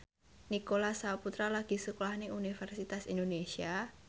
Nicholas Saputra lagi sekolah nang Universitas Indonesia